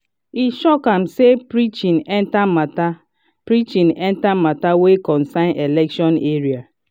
e shock am say preaching enter matter preaching enter matter wey concern election area.